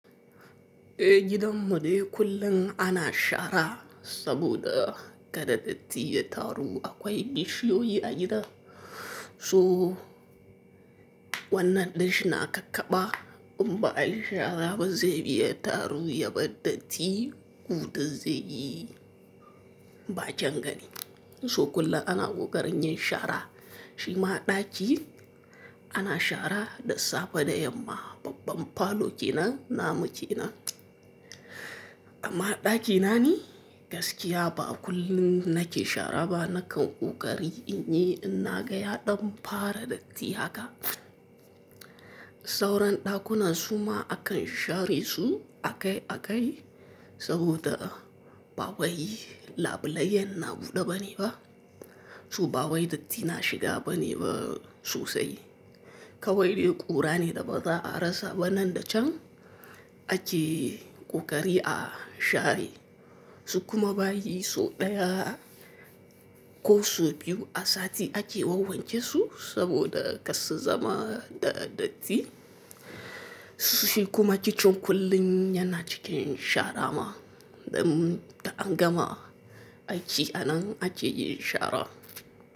Eh gidan mu dai kullum ana shara saboda kada datti ya taru. Akwai bishiyoyi yi a gida, so wannan ɗinshi na kakkaba in ba a yi shara ba, zai iya taru ya bar datti. Ku da zeyi ba kyan gani. So kullum ana ƙoƙarin yin shara. Shi ma ɗaki ana shara, da safe da yamma, babban falo kenan, na mu kenan. Amma ɗaki na ni gaskiya ba kullum nake shara ba. Nakan ƙoƙari in yi in naga ya ɗan fara datti haka. Sauran ɗakunan su ma akan share su a kai a kai saboda ba wai labulaiyan na buɗe ba ne ba. Su ba wai datti na shiga ba ne ba sosai. Kawai dai ƙura ne da baza arasa ba nan da can ake ƙoƙari a share su. Kuma bayi so ɗaya ko so biyu a sati ake wawwanke su saboda kas su zama da datti. Shi kuma kicin kullum yana cikin shara ma. Dan ta an gama aiki anan ake yin shara.